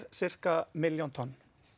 sirka milljón tonn